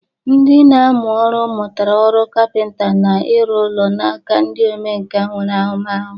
Ndị na-amụ ọrụ mụtara ọrụ kapịnta na ịrụ ụlọ n'aka ndị omenkà nwere ahụmahụ.